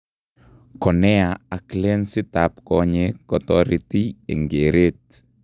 Cornea ak lensit ab konyek kotoreti eng' kereet